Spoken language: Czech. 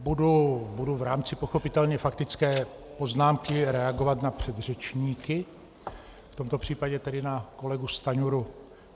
Budu v rámci pochopitelně faktické poznámky reagovat na předřečníky, v tomto případě tedy na kolegu Stanjuru.